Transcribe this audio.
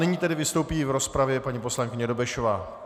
Nyní tedy vystoupí v rozpravě paní poslankyně Dobešová.